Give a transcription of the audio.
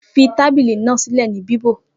Fí tábìlì náà sílè ní bíbò